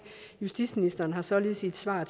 justitsministeren har således i et svar